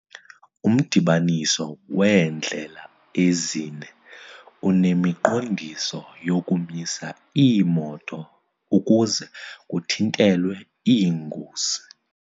Umdibaniso weendlela ezine unemiqondiso yokumisa iimoto ukuze kuthintelwe iingozi.